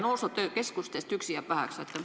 Noorsootöökeskustest üksi jääb väheks.